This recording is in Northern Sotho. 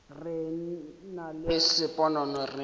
re nna le sponono re